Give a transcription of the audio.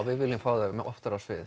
við viljum fá þau oftar á svið